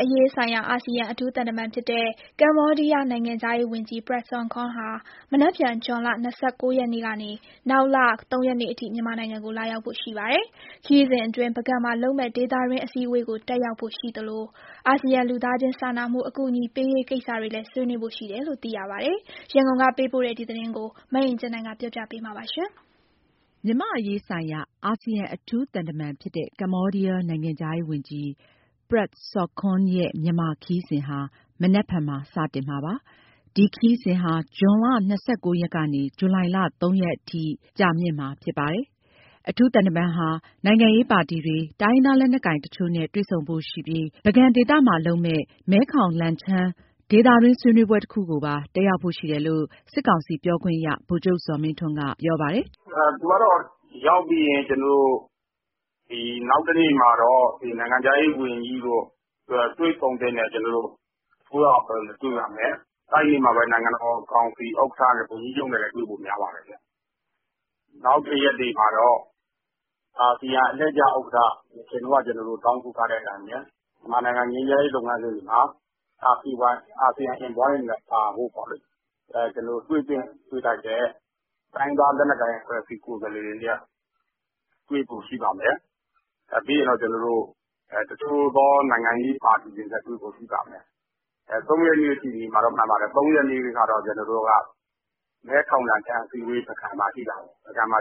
အရေးဆိုင်ရာ အာဆီယံအထူးသံတမန်ဖြစ်တဲ့ ကမ္ဘောဒီးယားနိုင်ငံခြားရေးဝန်ကြီး Prak Sokhonn ဟာ မနက်ဖြန် ဇွန်လ ၂၉ ရက်ကနေ နောက်လ ၃ ရက်နေ့အထိ မြန်မာနိုင်ငံကို လာရောက်ဖို့ရှိနေပါတယ်။ ခရီးစဉ်အတွင်း ပုဂံမှာလုပ်မယ့် ဒေသတွင်းအစည်းအဝေးကို တက်ရောက်ဖို့ရှိသလို အာဆီယံလူသားချင်းစာနာမှုအကူအညီပေးရေးကိစ္စတွေလည်း ဆွေးနွေးဖို့ရှိတယ်လို့ သိရပါတယ်။ ရန်ကုန်က ပေးပို့တဲ့ သတင်းကို မအင်ကြင်းနိုင်က တင်ပြပေးထားပါတယ်။ မြန်မာ့အရေးဆိုင်ရာ အာဆီယံအထူးသံတမန်ဖြစ်တဲ့ ကမ္ဘောဒီးယားနိုင်ငံခြားရေးဝန်ကြီး ပရက် ဆော့ခွန်းရဲ့မြန်မာခရီးစဉ်ဟာ မနက်ဖြန်မှာ စတင်မှာဖြစ်ပါတယ်။ အထူးသံတမန်ဟာ မနက်ဖြန် ဇွန်လ ၂၉ ရက်ကနေ ဇူလိုင်လ ၃ ရက်အထိ မြန်မာနိုင်ငံမှာ ကြာမြင့်မှာပါ။ ဒီခရီးစဉ်အတွင်း နိုင်ငံရေးပါတီတွေ၊ တိုင်းရင်းသားလက်နက်ကိုင်တချို့နဲ့ တွေ့ဆုံဖို့ရှိပြီး ပုဂံဒေသမှာ လုပ်မယ့် မဲခေါင်- လန်ချန်း ဒေသတွင်းဆွေးနွေးပွဲတခုကိုပါတက်ရောက်ဖို့ရှိတယ်လို့ စစ်ကောင်စီပြောခွင့်ရသူ ဗိုလ်ချုပ်ဇော်မင်းထွန်းက ပြောပါတယ်။ “သူကတော့ ရောက်ပြီးရင် နောက်တနေ့မှာတော့ နိုင်ငံခြားရေးဝန်ကြီးတို့၊ တွေ့ဆုံသင့်တဲ့ အစိုးရအဖွဲ့တွေနဲ့တွေ့ပါမယ်။ အဲနေ့မှာပဲ နိုင်ငံတော်ကောင်စီ ဥက္ကဋ္ဌ ဝန်ကြီးချုပ်နဲ့လည်းတွေ့ဖို့များပါတယ်။ နောက်တရက်မှာတော့ အာဆီယံအလှည့်ကျ ဥက္ကဋ္ဌ တောင်းဆိုထားတဲ့အတိုင်း မြန်မာနိုင်ငံ ငြိမ်းချမ်းရေးလုပ်ငန်းစဉ်မှာ အာဆီယံ envoy အနေနဲ့ပါဖို့ တွေ့သင့်တွေ့ထိုက်တဲ့ တိုင်းရင်းသား လက်နက်ကိုင်ကိုယ်စားလှယ်တွေနဲ့ တွေ့ပါမယ်။ ပြီးရင်တချို့သောနိုင်ငံရေးပါတီတွေနဲ့တွေ့ဖို့ရှိပါမယ်။ ၃ ရက်နေ့ထိနေမှာတော့ မှန်ပါတယ်။ ၃ ရက်နေ့မှာတော့ ပုဂံမှာ မဲခေါင် -လန်ချန်း ဆွေးနွေးပွဲရှိပါမယ်။ အဲကို JOIN ပါ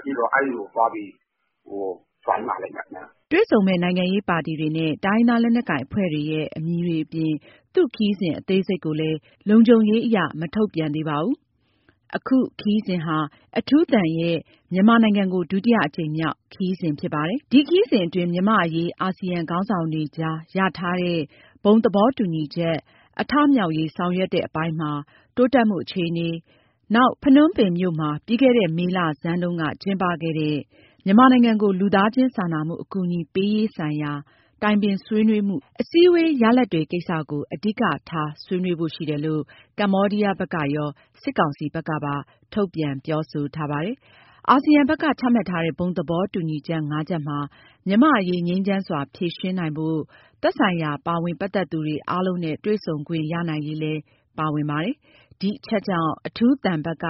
လိမ့်မယ်။” တွေ့ဆုံမယ့် နိုင်ငံရေးပါတီတွေနဲ့တိုင်းရင်းသားလက်နက်ကိုင်အဖွဲ့တွေရဲ့ အမည်တွေအပြင် သူ့ခရီးစဉ်အသေးစိတ်ကိုလည်း လုံခြုံရေးအရ မထုတ်ပြန်သေးပါဘူး။ အခု ခရီးစဉ်ဟာ အထူးသံရဲ့ မြန်မာနိုင်ငံကို ဒုတိယအကြိမ်မြောက် ခရီးစဉ်လည်း ဖြစ်ပါတယ်။ ဒီ ခရီးစဉ်အတွင်း မြန်မာ့အရေး အာဆီယံခေါင်းဆောင်တွေကြားရထားတဲ့ ဘုံသဘောတူညီချက် အထမြောက်ရေး ဆောင်ရွက်တဲ့အပိုင်းမှာ တိုးတက်မှုအခြေအနေ၊ နောက် ဖနွမ်းပင်မြို့မှာ ပြီးခဲ့တဲ့မေလဆန်းတုန်းက ကျင်းပခဲ့တဲ့ မြန်မာနိုင်ငံကို လူသားချင်းစာနာမှုအကူအညီပေးရေး ဆိုင်ရာတိုင်ပင်ဆွေးနွေးမှု အစည်းအဝေးရလာဒ်တွေကိစ္စကို အဓိကထားဆွေးနွေးဖို့ရှိတယ်လို့ ကမ္ဘောဒီးယားဘက်ကရော စစ်ကောင်စီဘက်ကပါ ထုတ်ပြန်ပြောဆိုထားပါတယ်။ အာဆီယံဘက်က ချမှတ်ထားတဲ့ ဘုံသဘောတူညီချက် ၅ ချက်မှာ မြန်မာ့အရေးငြိမ်းချမ်းစွာ ဖြေရှင်းနိုင်ဖို့ သက်ဆိုင်ရာပါဝင်ပတ်သက်သူတွေအားလုံးနဲ့တွေ့ဆုံခွင့်ရနိုင်ရေးလည်း ပါဝင်ထားပါ တယ်။ ဒီအချက်ကြောင့် အထူးသံဘက်က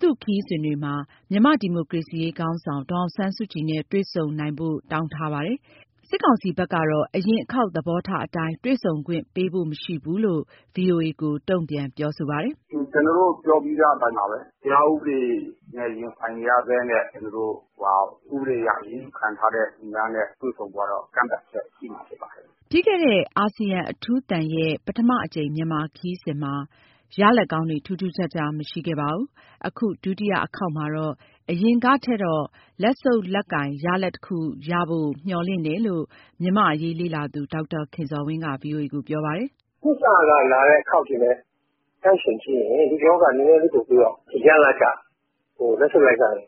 သူ့ခရီးစဉ်တွေမှာ မြန်မာ့ဒီမိုကရေစီခေါင်း ဆောင် ဒေါ်အောင်ဆန်းစုကြည်နဲ့ တွေ့ဆုံနိုင်ဖို့ တောင်းထားပါတယ်။ စစ်ကောင်စီဘက်ကတော့ အရင်အခေါက် သဘောထားအတိုင်း တွေ့ခွင့်ပေးဖို့မရှိဘူးလို့ ဗွီအိုအေကို တုံ့ပြန်ပြောဆိုပါတယ်။ “ကျနော်တို့ပြောပြီးသားအတိုင်းပါပဲ။ တရားဥပဒေရင်ဆိုင်နေရဆဲနဲ့ တရားဥပဒေနဲ့ အရေးယူခံထား ရသူတွေနဲ့ တွေ့ဆုံဖို့ကတော့ ကန့်သတ်ချက်ရှိမှာဖြစ်ပါတယ်။” ပြီးခဲ့တဲ့ အာဆီယံအထူးသံ ပထမအကြိမ်မြန်မာခရီးစဉ်မှာ ရလဒ်ကောင်းတွေ ထူးထူးခြားခြားမရှိခဲ့ပါဘူး။ အခု ဒုတိယအခေါက်မှာတော့ အရင်ကထက်တော့ လက်ဆုပ်လက်ကိုင်ရလဒ်တခုရဖို့ မျှော်လင့်တယ်လို့ မြန်မာ့အရေးလေ့လာသူ ဒေါက်တာခင်ဇော်ဝင်းက ဗွီအိုအေကို ပြောပါတယ်။ “နှစ်စကလာတဲ့အခေါက်တွေနဲ့နှိုင်းယှဉ်ကြည့်ရင် ဒီတခေါက်က နည်းနည်းလေးပြီးတော့ ရလာဒ်က လက်ဆုပ်လက်ကိုင်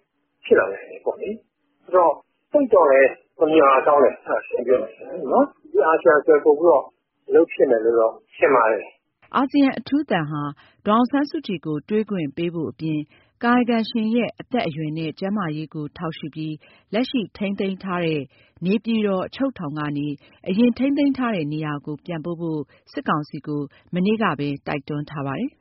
ဖြစ်လာနိုင်တယ်ပေါ့။သိပ်တော့လည်း မမျှော်တာကောင်းမယ်-ရှင်းရှင်းပြောရမယ်ဆိုလို့ရှိရင်၊...ပိုပြီးတော့အလုပ်ဖြစ်မယ်လို့တော့ ထင်ပါတယ်။” အာဆီယံအထူးသံဟာ ဒေါ်အောင်ဆန်းစုကြည်ကို တွေ့ခွင့်ပေးဖို့အပြင် ကာယကံရှင်ရဲ့အသက်အရွယ်နဲ့ ကျန်းမာရေးကို ထောက်ရှုပြီး လက်ရှိ ထိန်းသိမ်းထားတဲ့ နေပြည်တော်အချုပ်ထောင်ကနေ အရင်ထိန်းသိမ်းတဲ့နေရာကို ပြန်ပို့ဖို့ စစ်ကောင်စီကို မနေ့ကပဲ တိုက်တွန်းထားပါတယ်